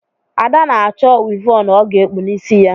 Ada na-achọ wịvọnụ ọ ga-ekpu n’isi ya